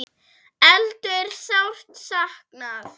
Eddu er sárt saknað.